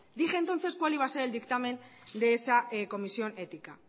dije entonces cuál iba a ser el dictamen de esa comisión ética